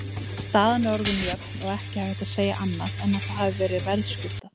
Staðan orðin jöfn og ekki hægt að segja annað en að það hafi verið verðskuldað.